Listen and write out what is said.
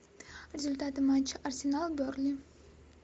результаты матча арсенал бернли